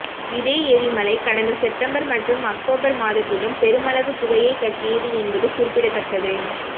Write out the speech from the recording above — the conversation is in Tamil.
இதே எரிமலை கடந்த செப்டம்பர் மற்றும் அக்டோபர் மாதத்திலும் பெருமளவு புகையை கக்கியது என்பது குறிப்பிடத்தக்கது